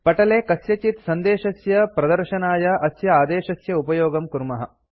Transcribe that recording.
पटले कस्यचित् सन्देशस्य प्रदर्शनाय अस्य आदेशस्य उपयोगं कुर्मः